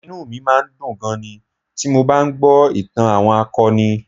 Inú mi máa ń dùn gan-an ni ti mo bá ń gbọ́ ìtàn àwọn akọni